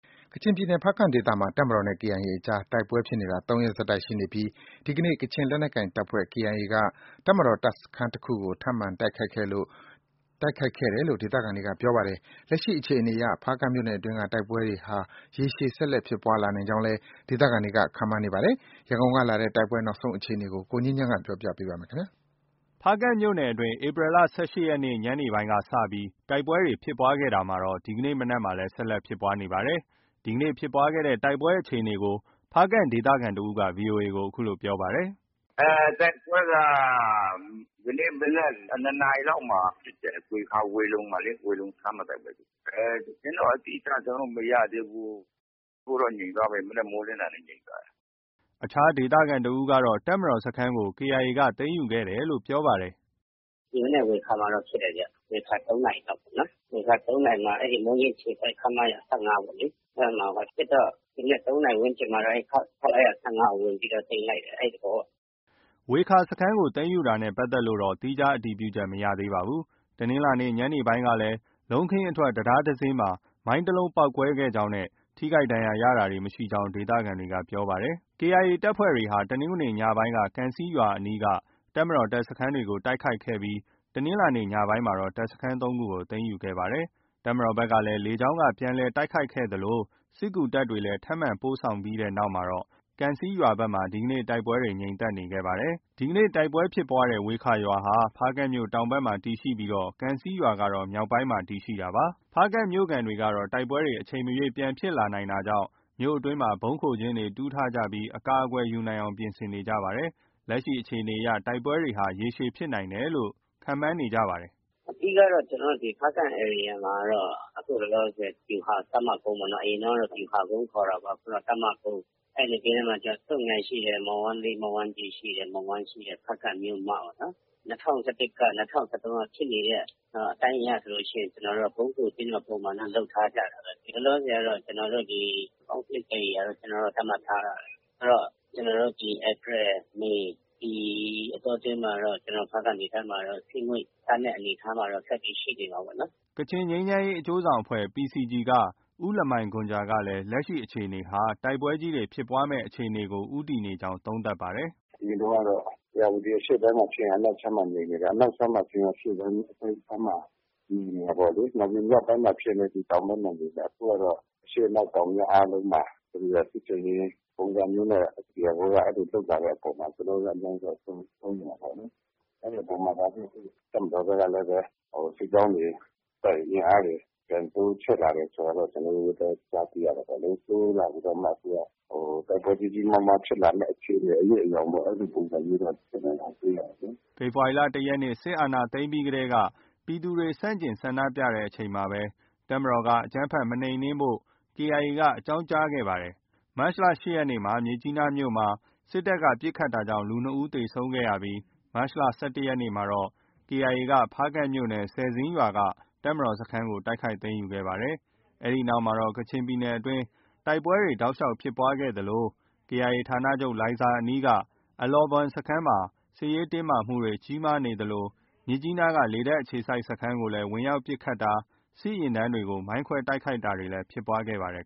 ကချင်ပြည်နယ် ဖားကန့်ဒေသမှာ တပ်မတော်နဲ့ KIA အကြား တိုက်ပွဲဖြစ်နေတာ ၃ ရက်ဆက်တိုက် ရှိနေပြီး ဒီကနေ့ ကချင်လက်နက်ကိုင်တပ်ဖွဲ့ KIA က တပ်မတော် တပ်စခန်းတစ်ခုကို ထပ်မံတိုက်ခိုက်ခဲ့တယ်လို့ ဒေသခံတွေက ပြောပါတယ်။ လက်ရှိ အခြေအနေအရ ဖားကန့်မြို့နယ်အတွင်းက တိုက်ပွဲတွေဟာ ရေရှည် ဆက်လက်ဖြစ်ပွားလာနိုင်ကြောင်းလည်း ဒေသခံတွေ ခန့်မှန်းနေပါတယ်။ ရန်ကုန်ကလာတဲ့ တိုက်ပွဲ နောက်ဆုံး အခြေအနေကို ကိုငြိမ်းချမ်းပြောပြပါမယ်။ ဖားကန့်မြို့နယ်အတွင်းမှာ ဧပြီလ ၁၈ ရက် တနင်္ဂနွေနေ့ ညနေပိုင်းက စတင်ပြီး တိုက်ပွဲတွေ ဖြစ်ပွားခဲ့တာ ဒီကနေ့ မနက်မှာလည်း ဆက်လက် ဖြစ်ပွားနေတာပါ။ ဒီကနေ့ ဖြစ်ပွားတဲ့ တိုက်ပွဲအခြေအနေကို ဖားကန့် ဒေသခံတစ်ဦးက ဗွီအိုအေကို အခုလို ပြောပါတယ်။ “တိုက်ပွဲက ဒီကနေ့ မနက် ၂ နာရီလောက်မှာ ဖြစ်တယ်။ ဝေခါ၊ ဝေလုံမှာလေ၊ ဝေလုံစခန်းမှာ တိုက်ပွဲဖြစ်တယ်။ သတင်းတော့ အတိအကျ ကျနော်တို့ မရသေးဘူး။ အခုတော့ ငြိမ်သွားပြီ၊ မနက်မိုးလင်းတာနဲ့ ငြိမ်သွားပြီ။” အခြားဒေသခံတစ်ဦးကတော့ တပ်မတော်စခန်းကို KIA က သိမ်းယူခဲ့တယ်လို့ ပြောပါတယ်။ “ ဒီမနက် ဝေခါမှာတော့ ဖြစ်တယ်ဗျ။ ဝေခါ ၃နာရီမှာ မိုးညှင်းအခြေစိုက် ခမရ ၁၅ ပေါ့လေ။ အဲဒီမှာဖြစ်တော့ ဒီမနက် ၃ နာရီ ဝန်းကျင်မှာတော့ ခမရ ၁၅ ကို ဝင်ပြီးတော့ သိမ်းလိုက်တယ်။ အဲဒီသဘောပေါ့။” ဝေခါ စခန်းကို သိမ်းယူတာနဲ့ ပတ်သက်လို့တော့ သီးခြားအတည်ပြုချက် မရသေးပါဘူး။ တနင်္လာနေ့ ညနေပိုင်းကလည်း လုံးခင်းအထွက် တံတားမှာ မိုင်းတစ်လုံးပေါက်ကွဲခဲ့ကြောင်းနဲ့ ထိခိုက်ဒဏ်ရာရတာ မရှိကြောင်းလည်း ဒေသခံတွေက ပြောပါတယ်။ KIA တပ်ဖွဲ့တွေဟာ တနင်္ဂနွေနေ့ ညနေပိုင်းက ကံဆီးရွာအနီးက တပ်မတော် တပ်စခန်းတွေကို တိုက်ခိုက်ခဲ့ပြီး တနင်္လာနေ့ ညနေပိုင်းမှာ တပ်စခန်း ၃ ခုကို သိမ်းယူခဲ့ပါတယ်။ တပ်မတော်ဘက်က လေကြောင်းက ပြန်လည် တိုက်ခိုက်ခဲ့သလို စစ်ကူတပ်တွေလည်း ထပ်မံပို့ဆောင်ခဲ့တဲ့နောက် ကံဆီးရွာဘက်မှာ ဒီနေ့တိုက်ပွဲတွေ ငြိမ်သက်ခဲ့နေပါတယ်။ ဒီကနေ့ တိုက်ပွဲဖြစ်ပွားတဲ့ ဝေခါရွာဟာ ဖားကန့်မြို့တောင်ဘက်မှာ တည်ရှိပြီး ကံဆီးရွာကတော့ မြောက်ဘက်ပိုင်းမှာ တည်ရှိတာပါ။ ဖားကန့်မြို့ခံတွေကတော့ တိုက်ပွဲတွေ အချိန်မရွေးပြန်ဖြစ်လာနိုင်တာကြောင့် မြို့အတွင်းမှာ ဗုံးခိုကျင်းတွေ တူးထားကြပြီး အကာအကွယ်ယူနိုင်အောင် ပြင်ဆင်နေကြပါတယ်။ လက်ရှိအခြေအနေအရ တိုက်ပွဲတွေဟာ ရေရှည်ဖြစ်နိုင်တယ်လို့ သူတို့က ခန့်မှန်းနေကြပါတယ်။ “အဓိကကတော့ ကျနော်တို့ ဖားကန့်ဒေသမှာတော့ အခုလောလောဆယ် ဗျူဟာ တပ်မကုန်းပေါ့နော်။ အရင်တုန်းကတော့ ဗျူဟာကုန်းခေါ်တာပေါ့။ အခု တပ်မကုန်း၊ အဲဒီနဘေးနားမှာတော့ ဆွတ်ငိုင်ယန်ရှိတယ်။ မော်ဝမ်းကြီး၊ မော်ဝမ်းလေး ရှိတယ်။ မော်ဝမ်းရှိတယ်။ ဖားကန့်မြို့မပေါ့နော်။ ၂၀၁၁က၊ ၂၀၁၃က ဖြစ်နေတဲ့ အတိုင်းအရဆိုရင် ကျနော်တို့က ဗုံးခိုကျင်းတော့ ပုံမှန်တော့ လုပ်ထားကြတာပဲ။ လောလောဆယ်ကတော့ ကျနော်တို့က Conflict ဧရိယာလို့ သတ်မှတ်ထားတာပဲ။ ဆိုတော့ ကျနော်တို့ ဧပြီ၊ မေ ဒီအတောအတွင်းမှာတော့ ဖားကန့်ဒေသမှာတော့ စစ်ငွေ့ သန်းတဲ့အနေအထားမှာတော့ ဆက်ပြီး ရှိနေမှာပေါ့နော်။” ကချင်ငြိမ်းချမ်းရေး အကျိုးဆောင်အဖွဲ့ PCG က ဦးလမိုင်ဂွမ်ဂျာကလည်း လက်ရှိ အခြေအနေဟာ တိုက်ပွဲကြီးတွေ ဖြစ်ပွားမယ့် အခြေအနေကို ဦးတည်နေကြောင်း သုံးသပ်ပါတယ်။ “အရင်တုန်းကတော့ ဧရာဝတီအရှေ့ခြမ်းမှာဖြစ်ရင် အနောက်ခြမ်းမှာ ငြိမ်နေတယ်။ အနောက်ခြမ်းမှာဖြစ်ရင် အရှေ့ခြမ်းမှာ ငြိမ်နေတယ်။ နောက်ပြီး မြောက်ပိုင်းမှာဖြစ်ရင်လည်း တောင်ပိုင်းမှာ ငြိမ်နေတယ်။ အခုကတော့ အရှေ့၊ အနောက်၊ တောင်၊ မြောက်အားလုံး မှာ စစ်ဆင်ရေးပုံစံမျိုးနဲ့ KIA က လုပ်လာတဲ့အပေါ်မှာ ကျနော်တို့လည်း အများကြီးတော့ စိုးရိမ်တာပေါ့လေ။ အဲဒီအပေါ်မှာ တပ်မတော်ဘက်ကလည်းပဲ စစ်ကြောင်းတွေ၊ အင်အားတွေ ပြန်တိုးချဲ့လာတယ်ဆိုတာတော့ ကျနော်တို့လည်း ကြားသိရတာပေါ့လေ။ တိုးလာပြီးတော့မှ သူက တိုက်ပွဲကြီးကြီးမားမားဖြစ်မယ့် အရိပ်အယောင်ပေါ့ အဲဒီလိုပုံစံမျိုးတော့ ကျနော်တို့ တွေ့ရတယ်လေ။” ဖေဖော်ဝါရီလ ၁ ရက်နေ့ စစ်တပ်က အာဏာသိမ်းတာကို ပြည်သူတွေ ဆန့်ကျင်ဆန္ဒပြတဲ့အချိန်မှာ တပ်မတော်က အကြမ်းဖက် မနှိမ်နင်းဖို့ KIA က အကြောင်းကြားခဲ့ပါတယ်။ မတ်လ ၈ ရက်နေ့ မြစ်ကြီးနားမြို့မှာ စစ်တပ်က ပစ်ခတ်တာကြောင့် လူ ၂ ယောက် သေဆုံးခဲ့ရပြီး မတ်လ ၁၁ ရက်နေ့မှာ KIA က ဖားကန့်မြို့နယ်၊ ဆယ်ဇင်းရွာက တပ်မတော်စခန်းတိုက်ခိုက်သိမ်းယူခဲ့ပါတယ်။ အဲဒီနောက်မှာတော့ ကချင်ပြည်နယ်အတွင်း တိုက်ပွဲတွေတောက်လျှောက် ဖြစ်ပွားခဲ့သလို KIA ဌာနချုပ် လိုင်ဇာအနီးက အလောဘွမ်စခန်းမှာ စစ်ရေးတင်းမာမှုတွေ ကြီးမားနေသလို မြစ်ကြီးနားက လေတပ်အခြေစိုက်စခန်းကိုလည်း ဝင်ရောက်ပစ်ခတ်တာ၊ စစ်ယာဉ်တန်းကို မိုင်းခွဲတိုက်ခိုက်တာတွေလည်း ဖြစ်ပွားခဲ့ပါတယ်